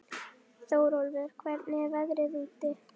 Þórólfur, hvernig er veðrið úti?